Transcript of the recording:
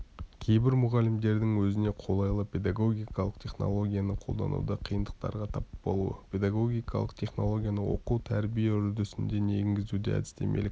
кейбір мұғалімдердің өзіне қолайлы педагогикалық технологияны қолдануда қиындықтарға тап болуы педагогикалық технологияны оқу-тәрбие үрдісіне енгізуде әдістемелік